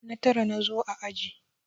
Na tara na zo a aji.